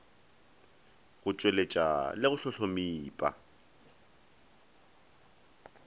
go tpweletpa le go hlohlomipa